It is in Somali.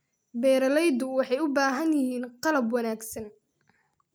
Beeraleydu waxay u baahan yihiin qalab wanaagsan.